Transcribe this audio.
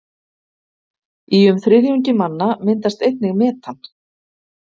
í um þriðjungi manna myndast einnig metan